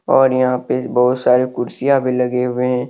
और यहां पे बहोत सारे कुर्सियां भी लगे हुए हैं।